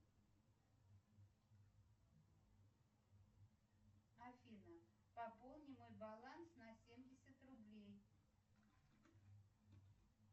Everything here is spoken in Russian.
афина пополни мой баланс на семьдесят рублей